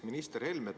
Minister Helme!